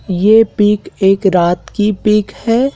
ये पिक एक रात की पिक है।